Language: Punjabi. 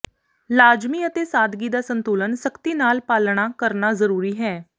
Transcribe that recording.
ਲਾਜਮੀ ਅਤੇ ਸਾਦਗੀ ਦਾ ਸੰਤੁਲਨ ਸਖਤੀ ਨਾਲ ਪਾਲਣਾ ਕਰਨਾ ਜ਼ਰੂਰੀ ਹੈ